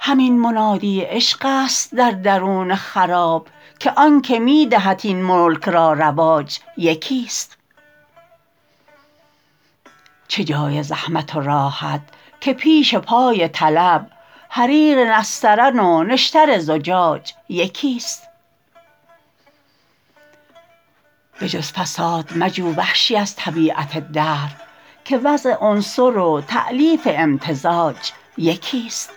همین منادی عشقست در درون خراب که آنکه می دهد این ملک را رواج یکیست چه جای زحمت و راحت که پیش پای طلب حریر نسترن و نشتر زجاج یکیست بجز فساد مجو وحشی از طبیعت دهر که وضع عنصر و تألیف امتزاج یکیست